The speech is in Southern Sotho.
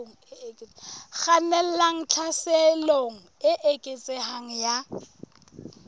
kgannelang tlhaselong e eketsehang ya